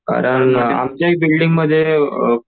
कारण आमच्या ही बिल्डिंगमध्ये अ